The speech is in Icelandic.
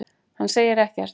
Hann gerir ekkert!